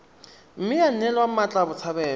mme ya neelwa mmatla botshabelo